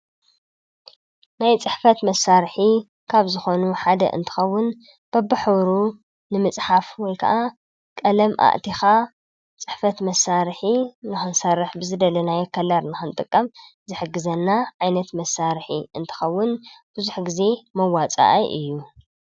ናይ ፅሕፈት መሳርሒ ካብ ዝኾኑ ሓደ እንትኸውን በብሕብሩ ንምፅሓፍ ወይ ከዓ ቀለም አእቲኻ ፅሕፈት መሳርሒ ንክንሰርሕ ብዝደለናዮ ከለር ንክንጥቀም ዝሕግዘና ዓይነት መሳርሒ እንትኸውን ብዙሕ ግዘ መዋፅአይ እዩ።